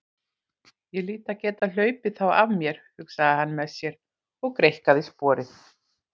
Ég hlýt að geta hlaupið þá af mér, hugsaði hann með sér og greikkaði sporið.